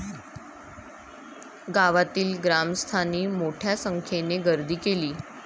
गावातील ग्रामस्थांनी मोठ्या संख्येने गर्दी केली.